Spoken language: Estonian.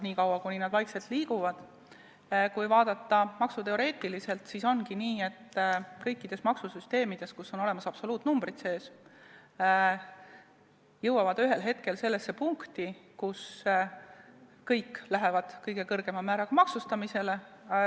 Kui vaadata maksuteoreetiliselt, siis ongi nii, et kõik maksusüsteemid, kus on sees absoluutnumbrid, jõuavad ühel hetkel sellesse punkti, kus kõiki hakatakse kõige kõrgema määraga maksustama.